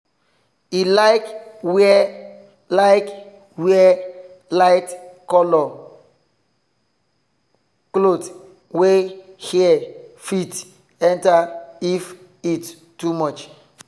he like wear like wear light cloth wey air fit enter if heat too much